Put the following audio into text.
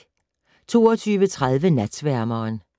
22:30: Natsværmeren